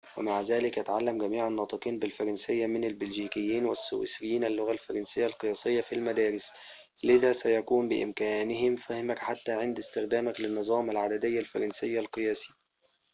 ومع ذلك يتعلّم جميع الناطقين بالفرنسيّة من البلجيكيين والسويسريين اللغة الفرنسيّة القياسيّة في المدارس لذا سيكون بإمكانهم فهمك حتى عند استخدامك للنظام العددي الفرنسيّ القياسي